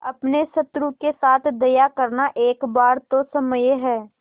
अपने शत्रु के साथ दया करना एक बार तो क्षम्य है